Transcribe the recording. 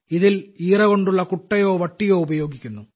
ഇതിൽ ഈറ കൊണ്ടുള്ള കുട്ടയോ വട്ടിയോ ഉപയോഗിക്കുന്നു